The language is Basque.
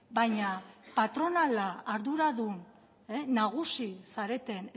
baina patronala arduradun nagusi zareten